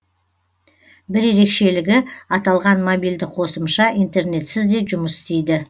бір ерекшелігі аталған мобильді қосымша интернетсіз де жұмыс істейді